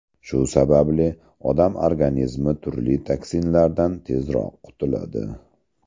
Shu sababli odam organizmi turli toksinlardan tezroq qutiladi.